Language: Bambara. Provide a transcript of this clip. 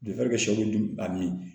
Dɔgɔtɔrɔ bɛ dun a min